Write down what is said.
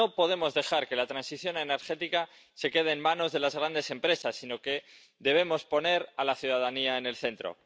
No podemos dejar que la transición energética se quede en manos de las grandes empresas, sino que debemos poner a la ciudadanía en el centro.